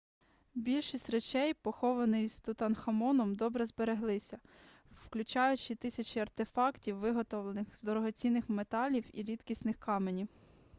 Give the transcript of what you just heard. більшість речей похованих з тутанхамоном добре збереглися включаючи тисячі артефактів виготовлених з дорогоцінних металів і рідкісних каменів